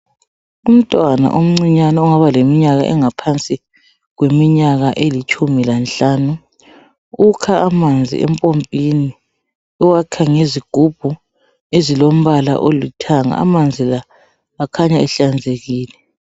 Umntwana oncinyane ongaba leminyaka engaphansi kweminyaka elitshumi lanhlanu, ukha manzi empompini uwakha ngezigubhu ezilombala olithanga amanzi la akhanya ehlanzekile.